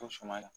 To suma na